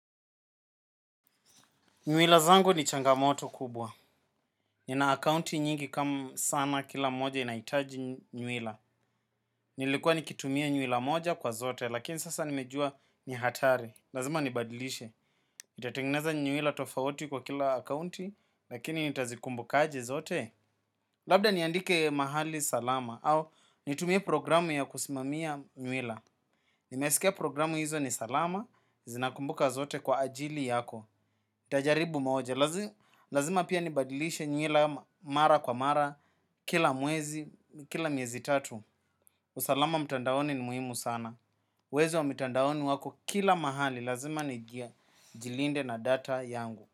Nywila zangu ni changamoto kubwa. Nina akaunti nyingi kama sana kila moja inahitaji nywila. Nilikuwa nikitumia nywila moja kwa zote, lakini sasa nimejua ni hatari. Lazima nibadilishe. Ntatengeneza nywila tofauti kwa kila akounti, lakini nitazikumbuka aje zote. Labda niandike mahali salama au nitumie programu ya kusimamia nywila. Nimesikia programu hizo ni salama, zinakumbuka zote kwa ajili yako. Ntajaribu moja. Lazima pia nibadilishe nyila mara kwa mara. Kila mwezi, kila miezi tatu. Usalama mtandaoni ni muhimu sana. Wezi wa mitandaoni wako kila mahali. Lazima nigia jilinde na data yangu.